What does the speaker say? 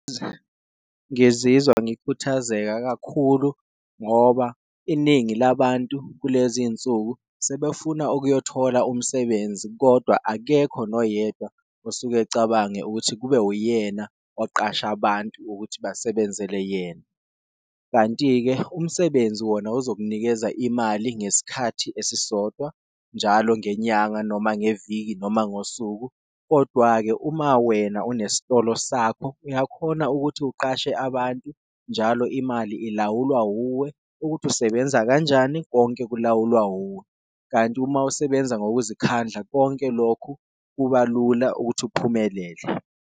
Ngizizwa ngikhuthazeka kakhulu ngoba iningi labantu kulezi insuku sebefuna ukuyothola umsebenzi, kodwa akekho noyedwa osuke ucabange ukuthi kube uyena oqasha abantu ukuthi basebenzele yena. Kanti-ke umsebenzi wona uzokunikeza imali ngesikhathi esisodwa njalo ngenyanga noma ngeviki noma ngosuku, kodwa-ke uma wena unesitolo sakho uyakhona ukuthi uqashe abantu, njalo imali ilawulwa wuwe ukuthi usebenza kanjani konke ukulawulwa wuwe. Kanti uma usebenza ngokuzikhandla konke lokhu, kuba lula ukuthi uphumelele.